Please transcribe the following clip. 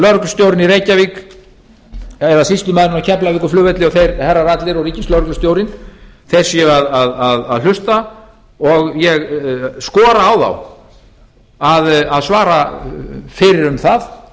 lögreglustjórinn í reykjavík eða sýslumaðurinn á keflavíkurflugvelli og þeir herrar allir og ríkislögreglustjórinn séu að hlusta og ég skora á þá að svara fyrir um það